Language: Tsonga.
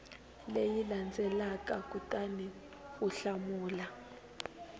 leyi landzelaka kutani u hlamula